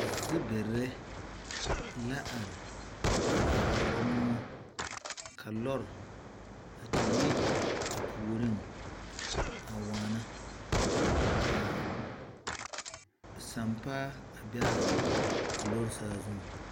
Zibire la are a ɔɔrɔ moɔ ka lɔre a te yi a puoriŋ a waana ka sampaa a be a lɔre saazuŋ.